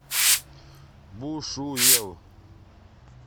бушуев